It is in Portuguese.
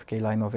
Fiquei lá em